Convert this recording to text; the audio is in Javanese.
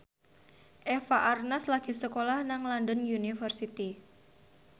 Eva Arnaz lagi sekolah nang London University